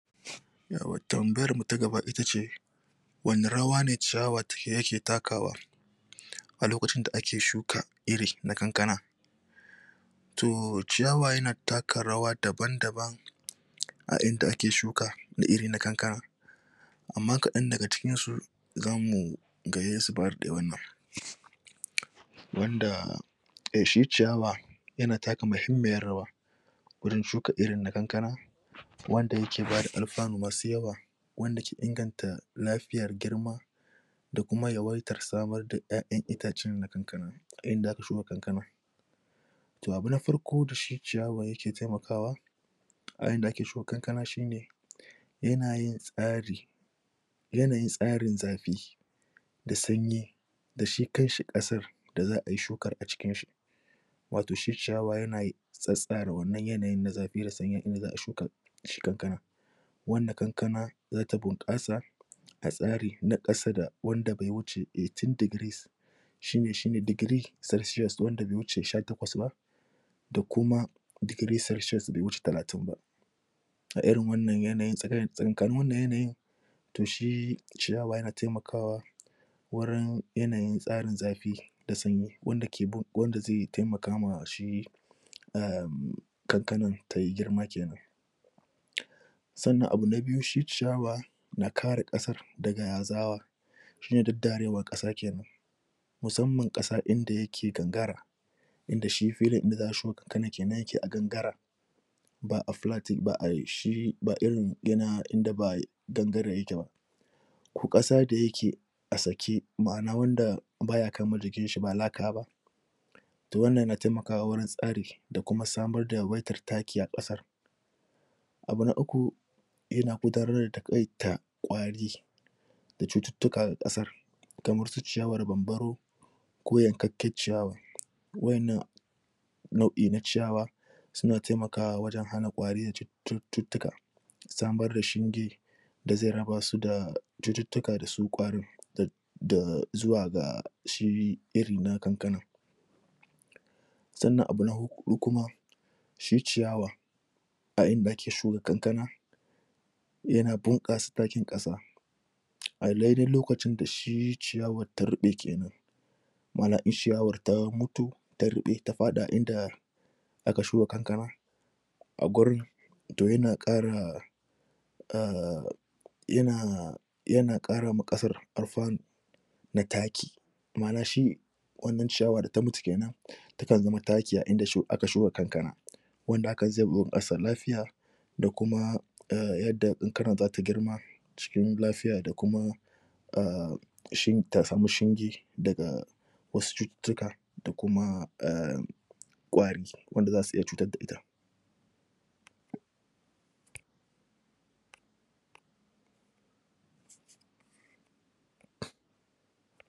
yauwa tambayar mu ta gaba itace wani rawa ne ciyawa take yake takawa? a lokacin da ake shuka iri na kankana to ciyawa yana taka rawa daban daban? a inda ake shuka da iri na kankana amma kaɗan daga cikinsu zan mu gayyansu ba daɗewan nan? wanda eh shi ciyawa yana taka mahimmiyar rawa wurin shuka irin na kankana wanda yake bada alfanu masu yawa wanda ke inganta lafiyar girma da kuma yawaitar samar da ƴaƴan itacen na kankana a inda aka shuka kankanan to abu na farko dashi ciyawa yake taimakawa a inda ake suka kankana shine yana yin tsari yanayin tsarin zafi da sanyi da shi kanshi ƙasar da za'ayi shukar a cikinshi wato shi ciyawa yanai tsatstsara wannan yanayin na zafi da sanyi inda za'a shuka shi kankanan wanda kankana zata bunƙasa a tsari na ƙasa da wanda be wuce eighteen degrees shine shine degree celcius wanda be wuce sha takwas ba da kuma degree celcius be wuce talatin ba a irin wannan yanayin tsaki tsakankanin wannan yanayin to shi ciyawa yana taimakawa wurin yanayin tsarin zafi da sanyi wanda ke bug wanda zai taimaka ma shi um kankanan tayi girma kenan? sannan abu na biyu shi ciyawa na kare ƙasar daga tsawa shine daddarewar ƙasa kenan musamman ƙasa inda yake gangara inda shi filin inda za'a shuka kankanan kenan yake a gangara ba a flat yak ba ai shi ba irin yana inda ba ai gangare yake ba ko ƙasa da yake a sake ma'ana wanda baya kama jikinshi ba laka ba to wannan yana taimakawa wurin tsari da kuma samar da yawaitar taki a ƙasar abu na uku yana gudanar da taƙaita ƙwari da cututtuka ga ƙasar kamar su ciyawar bambaro ko yankakken cikawa? wa'innan nau'i na ciyawa suna taimakawa wajen hana ƙwari da cututtuka samar da shinge da ze raba su da cututtuka da su ƙwarin da da zuwa ga shi iri na kankanan sannan abu na huɗu kuma shi ciyawa a inda ake shuka kankana yana bunƙasa takin ƙasa a daidai lokacin da shi ciyawar ta ruɓe kenan ma'ana in shiyawar ta mutu ta ruɓe ta faɗi a inda aka shuka kankana a gurin to yana ƙara um yana yana ƙara ma ƙasar alfanu na taki ma'ana shi wannan ciyawa da ta mutu kenan ta kan zama taki a inda shu aka shuka kankana wanda akayi? ƙasa lafiya da kuma um yanda kankanan zata girma cikin lafiya da kuma um shin ta samu shinge daga wasu cututtuka da kuma um ƙwari wanda zasu ita cutar da ita